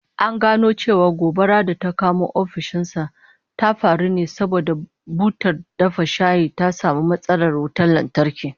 An gano cewa gobarar da ta kona ofishin nasa ta faru ne saboda butar dafa shayi ta samu matsalar wutan lantarki